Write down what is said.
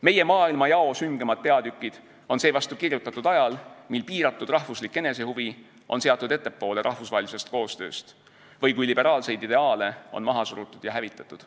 Meie maailmajao süngemad peatükid on seevastu kirjutatud ajal, mil piiratud rahvuslik enesehuvi on seatud ettepoole rahvusvahelisest koostööst või kui liberaalseid ideaale on maha surutud ja hävitatud.